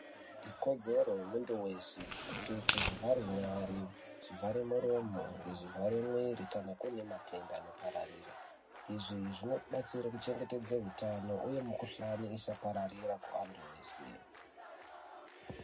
Ikodzero ye muntu weshe kupfeke zvivhare nyare zvivhare muromo ngezvi vhare mwiri kana kune matenda ano pararire izvi zvinoti batsire ku chengetedze utano uye mu kuhlani isa pararira ku antu ese.